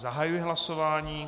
Zahajuji hlasování.